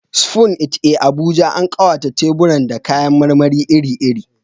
Spoon It a Abuja, an ƙawata teburan da kayan marmari iri-iri.